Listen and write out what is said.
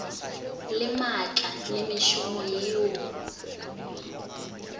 le maatla le mešomo yeo